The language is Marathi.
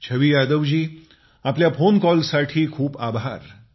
छवी यादवजी आपल्या फोन कॉलसाठी खूप आभार